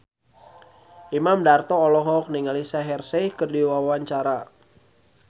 Imam Darto olohok ningali Shaheer Sheikh keur diwawancara